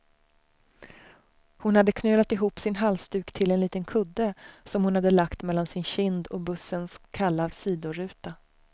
Hon hade knölat ihop sin halsduk till en liten kudde, som hon hade lagt mellan sin kind och bussens kalla sidoruta.